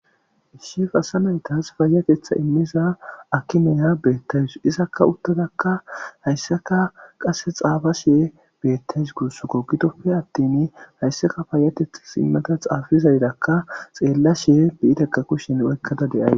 issi fasanaytas fayatetha immiza akimeya beettays isakka uttadakka haysseka qasse xaafashee beettawu gussako gidoppe attemi haysseka paayatetha simmata xaafizaydakka xeellashee biitekka kushen oykkada de7awus